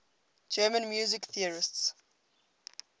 german music theorists